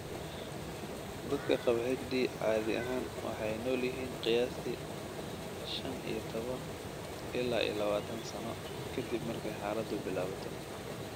Dadka qaba HD caadi ahaan waxay nool yihiin qiyaastii shan iyo toban ila iyo lawatan sano ka dib markay xaaladdu bilaabato.